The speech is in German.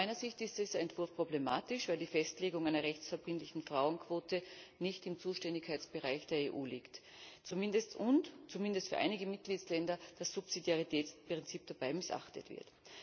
Aus meiner Sicht ist dieser Entwurf problematisch, weil die Festlegung einer rechtsverbindlichen Frauenquote nicht im Zuständigkeitsbereich der EU liegt und zumindest für einige Mitgliedsländer das Subsidiaritätsprinzip dabei missachtet wird.